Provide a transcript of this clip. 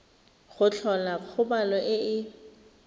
go tlhola kgobalo e e